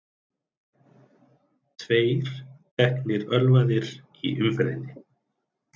Tveir teknir ölvaðir í umferðinni